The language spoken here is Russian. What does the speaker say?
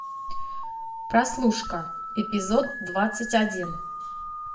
прослушка эпизод двадцать один